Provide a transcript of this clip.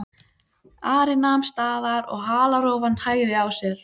Ari nam staðar og halarófan hægði á sér.